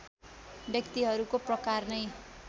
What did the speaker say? व्यक्तिहरूको प्रकार नै